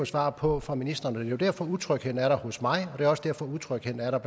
svar på fra ministeren og det er jo derfor utrygheden er der hos mig og det er også derfor utrygheden er der